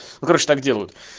ну короче так делают